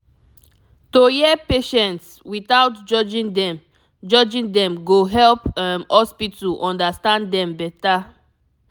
to hear patients without judging dem judging dem go help um hospital understand dem better